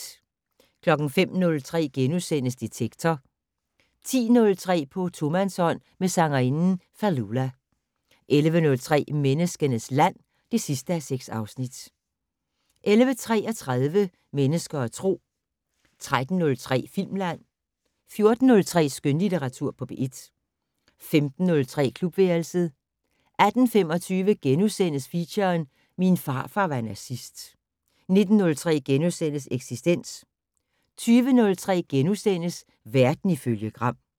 05:03: Detektor * 10:03: På tomandshånd med sangerinden Fallulah 11:03: Menneskenes land (6:6) 11:33: Mennesker og Tro 13:03: Filmland 14:03: Skønlitteratur på P1 15:03: Klubværelset 18:25: Feature: Min farfar var nazist * 19:03: Eksistens * 20:03: Verden ifølge Gram *